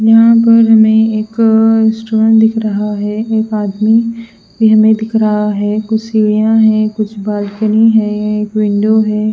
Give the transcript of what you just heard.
यहां पर हमें एक रेस्टोरेंट दिख रहा है एक आदमी भी हमें दिख रहा है कुछ सीढ़ियां हैं कुछ बालकनी है एक विंडो है ।